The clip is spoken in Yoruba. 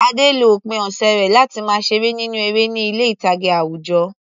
Ade lo òpin ọ̀sẹ̀ rẹ̀ láti máa ṣeré nínú eré ní ilé ìtàgé àwùjọ.